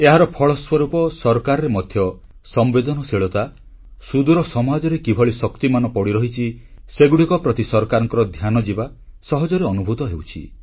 ଏହାର ଫଳସ୍ୱରୂପ ସରକାରରେ ମଧ୍ୟ ସମ୍ବେଦନଶୀଳତା ସୁଦୂର ସମାଜରେ କିଭଳି ଶକ୍ତି ପଡ଼ି ରହିଛି ସେଗୁଡ଼ିକ ପ୍ରତି ସରକାରଙ୍କ ଧ୍ୟାନ ଯିବା ସହଜରେ ଅନୁଭୂତ ହେଉଛି